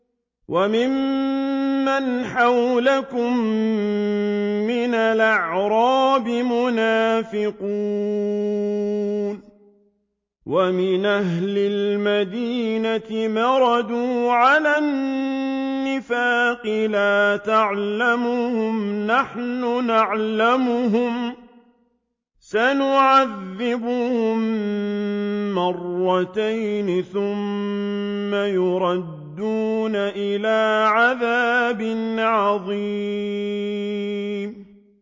وَمِمَّنْ حَوْلَكُم مِّنَ الْأَعْرَابِ مُنَافِقُونَ ۖ وَمِنْ أَهْلِ الْمَدِينَةِ ۖ مَرَدُوا عَلَى النِّفَاقِ لَا تَعْلَمُهُمْ ۖ نَحْنُ نَعْلَمُهُمْ ۚ سَنُعَذِّبُهُم مَّرَّتَيْنِ ثُمَّ يُرَدُّونَ إِلَىٰ عَذَابٍ عَظِيمٍ